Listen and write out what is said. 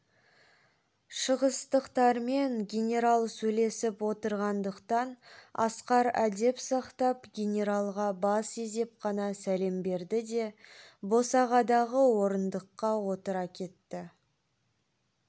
шығыстықтармен генерал сөйлесіп отырғандықтан асқар әдеп сақтап генералға бас изеп қана сәлем берді де босағадағы орындыққа отыра кетті